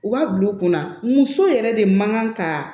U ka bil'u kunna muso yɛrɛ de man kan ka